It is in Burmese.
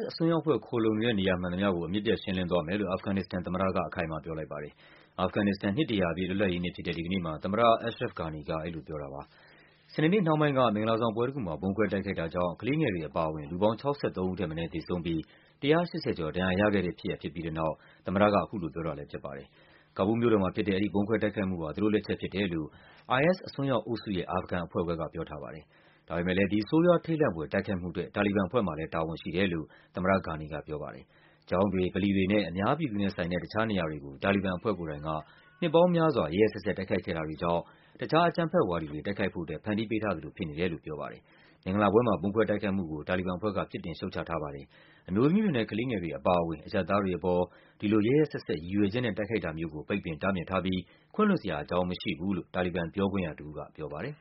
အစွန်းရောက်အဖွဲ့ ခိုလှုံနေတဲ့ နေရာမှန်သမျှကို အမြစ်ပြတ်ရှင်းလင်းသွားမယ်လို့ အာဖဂန်နစ္စတန် သမ္မတက အခိုင်အမာ ပြောလိုက်ပါတယ်။ အာဂဖန်နစ္စတန် နှစ် ၁၀၀ ပြည့် လွတ်လပ်ရေးနေ့ဖြစ်တဲ့ ဒီကနေ့မှာ သမ္မတ Ashraf Ghani က အဲဒီလိုပြောတာပါ။ စနေနေ့ နှောင်းပိုင်းက မင်္ဂလာဆောင်ပွဲတခုမှာ ဗုံးခွဲတိုက်ခိုက်တာကြောင့် ကလေးငယ်တွေအပါအဝင် လူပေါင်း ၆၃ ဦးထက်မနည်း သေဆုံးပြီး ၁၈၀ ကျော် ဒဏ်ရာရခဲ့တဲ့ဖြစ်ရပ် ဖြစ်ပြီးတဲ့နောက် သမ္မတက အခုလိုပြောတာလည်းဖြစ်ပါတယ်။ ကာဘူးလ်မြို့တော်မှာဖြစ်တဲ့ အဲဒီဗုံးခွဲတိုက်ခိုက်မှုဟာ သူတို့လက်ချက်ဖြစ်တယ်လို့ IS အစွန်းရောက်အုပ်စုရဲ့ အာဖဂန်အဖွဲ့ခွဲက ပြောထားပါတယ်။ ဒါပေမယ့်လည်း ဒီ ဆိုးရွား ထိတ်လန့်ဖွယ် တိုက်ခိုက်မှုအတွက် တာလီဘန်အဖွဲ့မှာလည်း တာဝန်ရှိတယ်လို့ သမ္မတ Ghani က ပြောပါတယ်။ ကျောင်းတွေ၊ ဗလီတွေနဲ့ အများပြည်သူနဲ့ဆိုင်တဲ့ တခြားနေရာတွေကို တာလီဘန်အဖွဲ့ကိုယ်တိုင်က နှစ်ပေါင်း များစွာ ရက်ရက်စက်စက် တိုက်ခိုက်ခဲ့တာတွေကြောင့် တခြားအကြမ်းဖက်ဝါဒီတွေ တိုက်ခိုက်ဖို့အတွက် ဖန်တီးပေးထားသလို ဖြစ်နေတယ်လို့ ပြောပါတယ်။ မင်္ဂလာပွဲမှာ ဗုံးခွဲတိုက်ခိုက်မှုကို တာလီဘန်အဖွဲ့က ပြစ်တင် ရှုတ်ချထားပါတယ်။ အမျိုးသမီးတွေနဲ့ ကလေးငယ်တွေအပါအဝင် အရပ်သားတွေအပေါ် ဒီလို ရက်ရက်စက်စက် ရည်ရွယ်ချက်နဲ့ တိုက်ခိုက်တာမျိုးကို ပိတ်ပင်တားမြစ်ထားပြီး ခွင့်လွှတ်စရာ အကြောင်းမရှိဘူးလို့ တာလီဘန်ပြောခွင့်ရတဦးက ပြောပါတယ်။